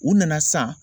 U nana san